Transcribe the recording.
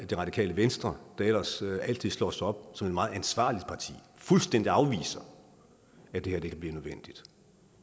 det radikale venstre der ellers altid slår sig op som et meget ansvarligt parti fuldstændig afviser at det her kan blive nødvendigt